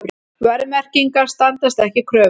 Verðmerkingar standast ekki kröfur